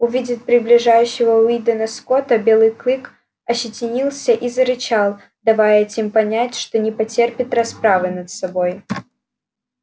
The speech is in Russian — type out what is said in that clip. увидев приближающегося уидона скотта белый клык ощетинился и зарычал давая этим понять что не потерпит расправы над собой